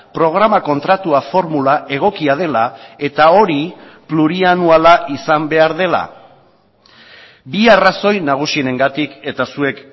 programa kontratua formula egokia dela eta hori plurianuala izan behar dela bi arrazoi nagusienengatik eta zuek